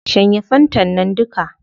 Shanye fantan nan duka